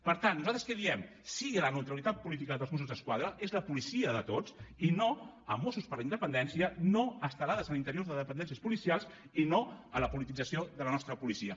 per tant nosaltres què diem sí a la neutralitat política dels mossos d’esquadra és la policia de tots i no a mossos per la independència no a estelades a l’interior de dependències policials i no a la politització de la nostra policia